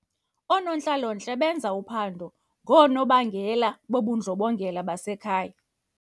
Oonontlalontle benza uphando ngoonobangela bobundlobongela basekhaya.